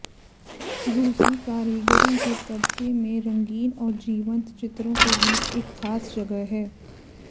रूसी कारीगरों के कब्जे में रंगीन और जीवंत चित्रों के बीच एक खास जगह है